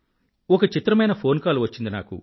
ఒక చిత్రమైన phone call వచ్చింది నాకు